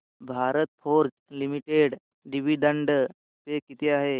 Bharat Forge limited dividend pay किती आहे